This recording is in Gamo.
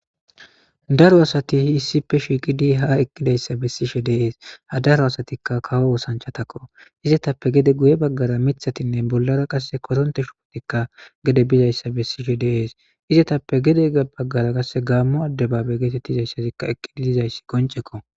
daro asati hi issippe shiiqidi ha eqqidayssa bessishe deees ha daro asatikka kawo osanchatakko izetappe gede guye baggara mithatinne bollara qasse koronte shupotikka gede bizayssa bessishe deees izetappe gede baggara kasse gaammo addebabe geetettizayssazikka eqqidi dizayssi koncekko